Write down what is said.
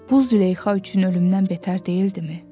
Bu Züleyxa üçün ölümdən betər deyildimi?